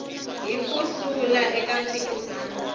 hi ku hlula eka mphikizano